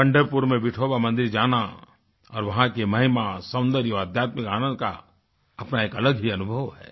पंढरपुर में विठोवा मंदिर जाना और वहाँ की महिमा सौन्दर्य आध्यात्मिक आनंद का अपना एक अलग ही अनुभव है